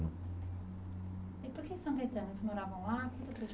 E por que São Caetano, eles moravam lá?